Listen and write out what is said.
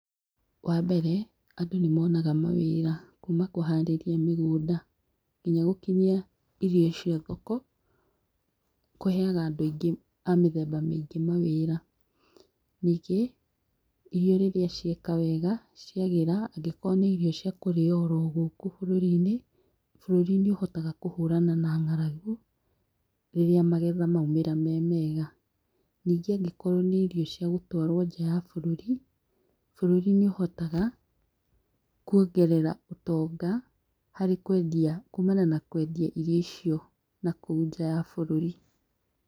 Wa mbere, andũ nĩ moonaga mawĩra kuuma kũharĩrĩa mĩgũnda, nginya gũkinyia irio icio thoko, kũheaga andũ aingĩ, a mĩthemba mĩingĩ mawĩra. Ningĩ, irio rĩrĩa cieka wega, ciagĩra, angĩkorwo nĩ irio cia kũrĩo oro gũkũ bũrũri-inĩ, bũrũri nĩ uhotaga kũhũrana na ng'aragu, rĩrĩa magetha maumĩra me mega. Ningĩ angĩkorwo nĩ irio cia gũtwarwo nja ya bũrũri, bũrũri nĩ ũhotaga, kũongerera ũtonga, harĩ kwendia kuumana na kwendia irio icio nakũu nja ya bũrũri.